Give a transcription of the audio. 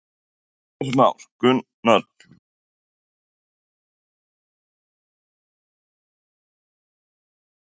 Heimir Már: Gunnar Bragi hvernig líst þér á að vera skipta um ráðuneyti?